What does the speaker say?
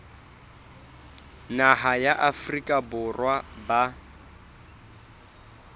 naha ya afrika borwa ba